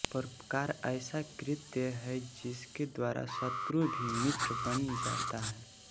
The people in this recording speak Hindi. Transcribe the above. परोपकार ऐसा कृत्य है जिसके द्वारा शत्रु भी मित्र बन जाता है